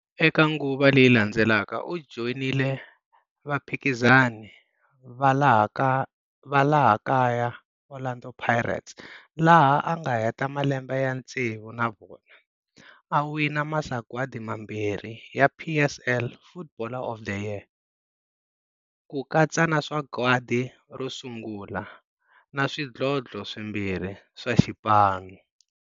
Eka nguva leyi landzelaka u joyinile vaphikizani va laha kaya Orlando Pirates laha anga heta malembe ya tsevu na vona, a wina masagwadi mambirhi ya PSL Footballer of the Year, kukatsa na sagwadi ro sungula, na swidlodlo swimbirhi swa xipano.